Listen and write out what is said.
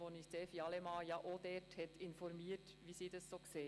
Dort hat uns Evi Allemann informiert, wie sie es sieht.